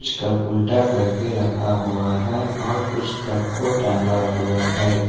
कुछ कप उल्टा करके रखा हुआ है और कुछ कप को टांगा हुआ है।